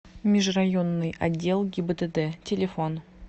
межрайонный отдел гибдд телефон